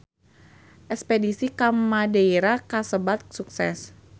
Espedisi ka Madeira kasebat sukses